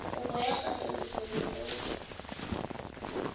kopo ya katoloso le go